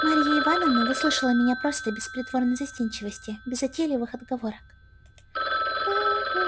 марья ивановна выслушала меня просто без притворной застенчивости без затейливых отговорок